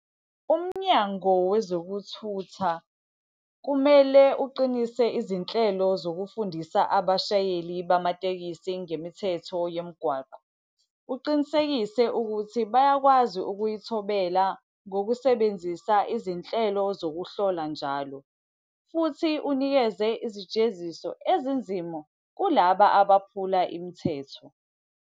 UMnyango wezokuThutha kumele uqinise izinhlelo zokufundisa abashayeli bamatekisi ngemithetho yomgwaqo. Uqinisekise ukuthi bayakwazi ukuyithobela ngokusebenzisa izinhlelo zokuhlola njalo, futhi unikeze izijeziso ezinzima kulaba abaphula imithetho.